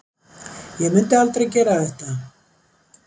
Ég myndi aldrei gera þetta.